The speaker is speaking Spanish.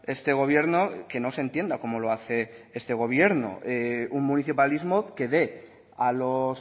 este gobierno que no se entienda como lo hace este gobierno un municipalismo que dé a los